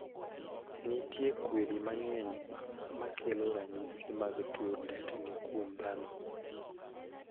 Nitie kwiri mang'eny makelo ranyisi mag tuo tetni kuom dhano.